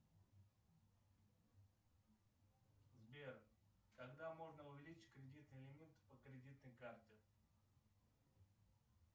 сбер когда можно увеличить кредитный лимит по кредитной карте